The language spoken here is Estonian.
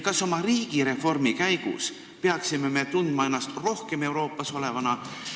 Kas me oma riigireformi käigus peaksime tundma ennast rohkem Euroopas olevana?